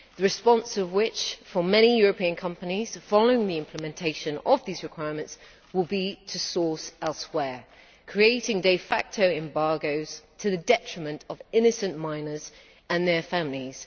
The response of many European companies, following the implementation of these requirements, will be to source elsewhere, creating de facto embargoes to the detriment of innocent miners and their families.